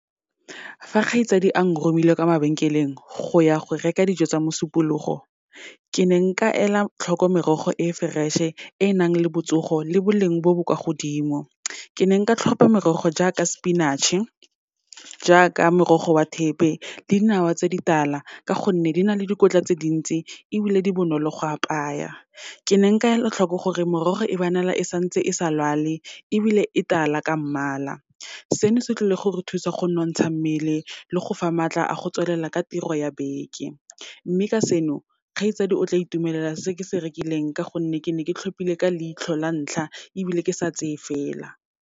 Fa kgaitsadi a nromile kwa mabenkeleng, go ya go reka dijo tsa Mosupologo, ke ne nka ela tlhoko merogo e fresh-e, e nang le botsogo, le boleng bo bo kwa godimo. Ke ne nka tlhopha merogo jaaka spinach-e, jaaka morogo wa thepe le dinawa tse ditala, ka gonne di na le dikotla tse dintsi ebile di bonolo go apaya. Ke ne nka ela tlhoko gore morogo e bonala e santse e sa lwale, ebile e tala ka mmala. Seno se tlile gore thusa go nonotsha mmele, le go fa maatla a go tswelela ka tiro ya beke. Mme ka seno, kgaitsadi o tla itumelela se ke se rekileng, ka gonne ke ne ke tlhopile ka leitlho la ntlha, ebile ke sa tseye fela.